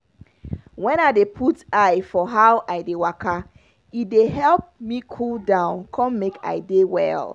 when i dey put put eye for how i dey waka e dey help me cool down con make i dey well.